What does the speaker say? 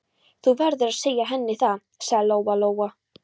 Þú verður að segja henni það, sagði Lóa-Lóa.